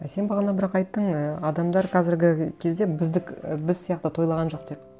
а сен бағана бірақ айттың і адамдар қазіргі кезде і біз сияқты тойлаған жоқ деп